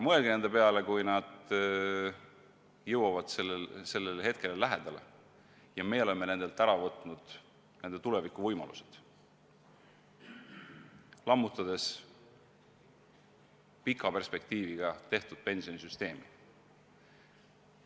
Mõelge nende peale, kui nad jõuavad selle hetke lähedale ja meie oleme nendelt ära võtnud nende tulevikuvõimalused, lammutades pika perspektiiviga tehtud pensionisüsteemi.